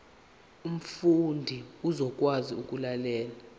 umfundi uzokwazi ukulalela